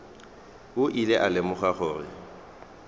o ile a lemoga gore